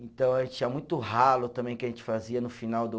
Então, tinha muito ralo também que a gente fazia no final do